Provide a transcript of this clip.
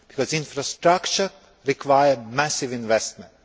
And infrastructure requires massive investment.